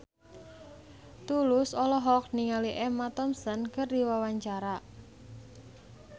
Tulus olohok ningali Emma Thompson keur diwawancara